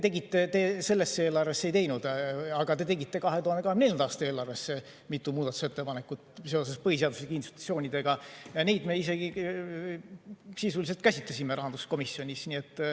Te selle eelarve kohta ei teinud, aga te tegite 2024. aasta eelarve kohta mitu muudatusettepanekut seoses põhiseaduslike institutsioonidega ja neid me isegi sisuliselt käsitlesime rahanduskomisjonis.